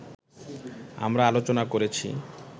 আমরা আলোচনা করেছি